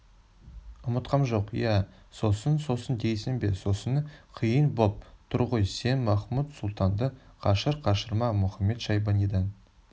ұмытқам жоқ иә сосын сосын дейсің бе сосыны қиын боп тұр ғой сен махмуд-сұлтанды қашыр-қашырма мұхамед-шайбанидан